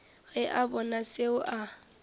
ge a bona seo a